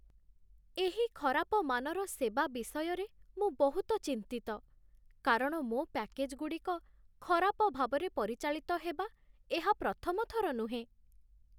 ଏହି ଖରାପ ମାନର ସେବା ବିଷୟରେ ମୁଁ ବହୁତ ଚିନ୍ତିତ, କାରଣ ମୋ ପ୍ୟାକେଜ୍‌ଗୁଡ଼ିକ ଖରାପ ଭାବରେ ପରିଚାଳିତ ହେବା ଏହା ପ୍ରଥମ ଥର ନୁହେଁ ।